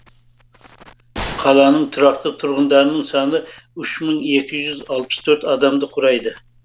қаланың тұрақты тұрғындарының саны үш мың екі жүз алпыс төрт адамды құрайды